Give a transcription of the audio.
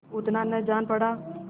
उतना न जान पड़ा